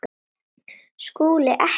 SKÚLI: Ekki?